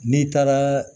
N'i taara